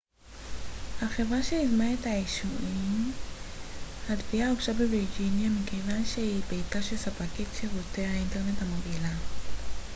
התביעה הוגשה בווירג'יניה מכיוון שהיא ביתה של ספקית שירותי האינטרנט המובילה aol החברה שיזמה את האישומים